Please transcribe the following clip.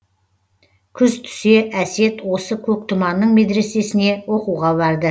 күз түсе әсет осы көктұманың медресесіне оқуға барды